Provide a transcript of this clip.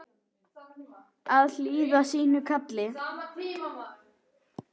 Að hlýða sínu kalli